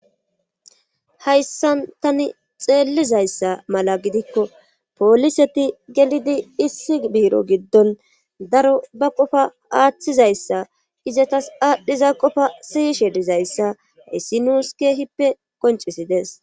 Hayssan tani xeellizayssa mala gidikko poliseti gelidi issi biiro giddon daro ba qofa aaththizayssa izatas aadhdhiza qofa siyishe dizayssa essinuuskehippe qoncisides